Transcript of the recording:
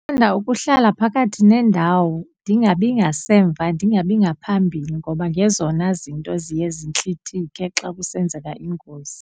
Ndithanda ukuhlala phakathi nendawo ndingabi ngasemva ndingabi ngaphambili ngoba ngezona zinto ziye zintlithike xa kusenzeka ingozi.